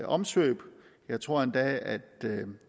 omsvøb jeg tror endda at